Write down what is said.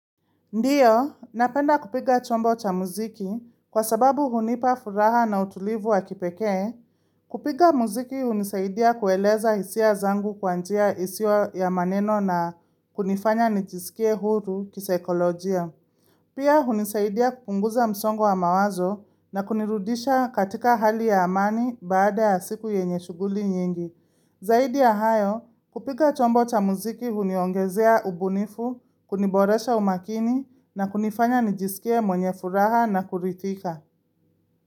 Ndiyo, napenda kupiga chombo cha muziki kwa sababu hunipa furaha na utulivu wa kipekee. Kupiga muziki hunisaidia kueleza hisia zangu kwa njia isiyo ya maneno na kunifanya nijisikie huru kisaikolojia. Pia, hunisaidia kupunguza msongo wa mawazo na kunirudisha katika hali ya amani baada ya siku yenye shughuli nyingi. Zaidi ya hayo kupiga chombo cha muziki huniongezea ubunifu, kuniboresha umakini na kunifanya nijisikie mwenye furaha na kuridhika.